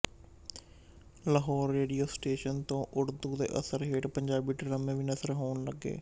Lahore radio station ਤੋਂ ਉਰਦੂ ਦੇ ਅਸਰ ਹੇਠ ਪੰਜਾਬੀ ਡਰਾਮੇ ਵੀ ਨਸਰ ਹੋਣ ਲੱਗੇ